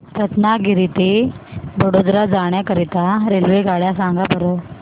रत्नागिरी ते वडोदरा जाण्या करीता रेल्वेगाड्या सांगा बरं